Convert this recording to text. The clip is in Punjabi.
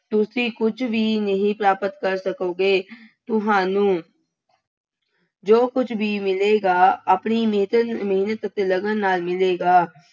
ਤੁਸੀਂ ਕੁੱਝ ਵੀ ਨਹੀਂ ਪ੍ਰਾਪਤ ਕਰ ਸਕੋਗੇ। ਤੁਹਾਨੂੰ ਜੋ ਕੁੱਝ ਵੀ ਮਿਲੇਗਾ, ਆਪਣੀ ਮਿਹਤਨ ਮਿਹਨਤ ਅਤੇ ਲਗਨ ਨਾਲ ਮਿਲੇਗਾ।